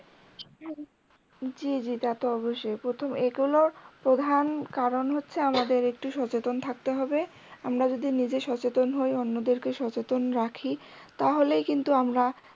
জী জী তা তো অবশ্যই, প্রথম এক হলো প্রধান কারণ হচ্ছে আমাদের একটু সচেতন থাকতে হবে, আমরা যদি নিজে সচেতন হই অন্যদেরকেও সচেতন রাখি তাহলেই কিন্তু আমরা